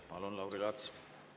Palun, Lauri Laats!